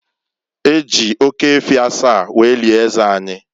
E ji oke efi asaa were lie eze anyị.